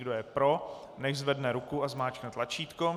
Kdo je pro, nechť zvedne ruku a zmáčkne tlačítko.